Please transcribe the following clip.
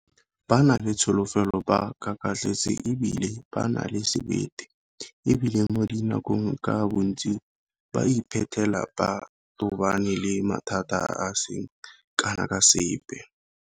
Ba na le tsholofelo, ba kakatletse e bile ba na le sebete, e bile mo dinakong ka bontsi ba iphitlhela ba tobane le mathata a a seng kana ka sepe.